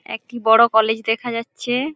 একটি বড় কলেজ দেখা যাচ্ছে ।